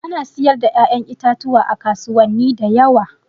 Ana siyar da ƴa'ƴan itatuwa a kasuwani da yawa.